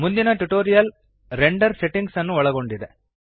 ಮುಂದಿನ tutorial render settings ನ್ನು ಒಳಗೊಂಡಿದೆ